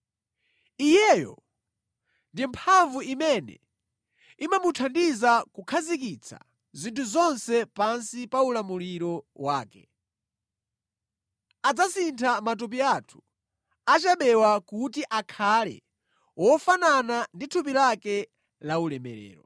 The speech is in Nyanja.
Iyeyo, ndi mphamvu imene imamuthandiza kukhazikitsa zinthu zonse pansi pa ulamuliro wake, adzasintha matupi athu achabewa kuti akhale ofanana ndi thupi lake la ulemerero.